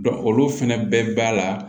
olu fɛnɛ bɛɛ b'a la